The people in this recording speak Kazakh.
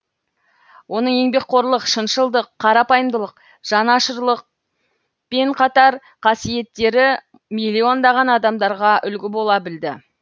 оның еңбекқорлық шыншылдық қарапайымдылық жанашырлық пен қатар қасиеттері миллиондаған адамдарға үлгі бола білді